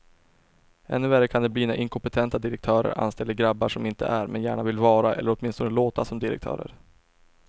Ännu värre kan det bli när inkompetenta direktörer anställer grabbar som inte är, men gärna vill vara eller åtminstone låta som direktörer.